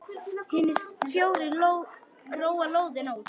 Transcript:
Hinir fjórir róa lóðina út.